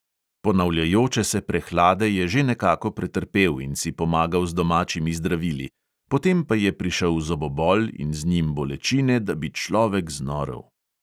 Ponavljajoče se prehlade je že nekako pretrpel in si pomagal z domačimi zdravili, potem pa je prišel zobobol in z njim bolečine, da bi človek znorel.